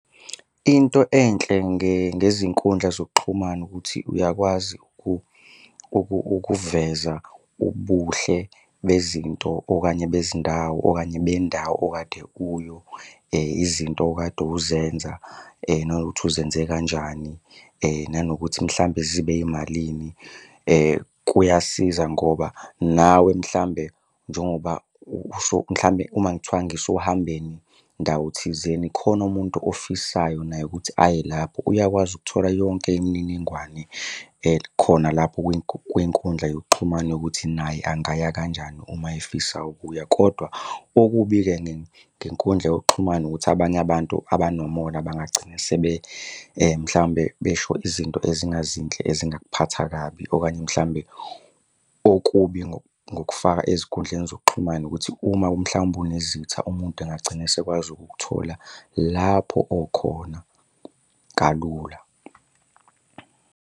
Into enhle ngezinkundla zokuxhumana ukuthi uyakwazi ukuveza ubuhle bezinto okanye bezindawo okanye bendawo okade . Izinto okade uzenza nanokuthi uzenze kanjani. Nanokuthi mhlambe zibe yimalini, kuyasiza ngoba nawe mhlambe njengoba mhlawumbe uma kuthiwa ngisohambeni ndawo thizeni khona umuntu ofisayo naye ukuthi aye lapho. Uyakwazi ukuthola yonke imininingwane khona lapho kwinkundla yokuxhumana yokuthi naye angaya kanjani uma efisa ukuya kodwa okubi-ke ngenkundla yekuxhumana ukuthi abanye abantu abanomona bangagcina sebe mhlawumbe besho izinto ezingazinhle ezingakuphatha kabi. Okanye mhlawumbe okubi ngokufaka ezinkundleni zokuxhumana ukuthi uma mhlawumbe unezitha umuntu engagcina esekwazi ukukuthola lapho okhona kalula.